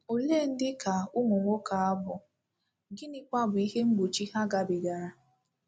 Ole ndị ka ụmụ nwoke a bụ, gịnịkwa bụ ihe mgbochi ha gabigara?